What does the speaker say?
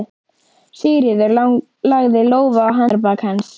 Sigríður lagði lófa á handarbak hans.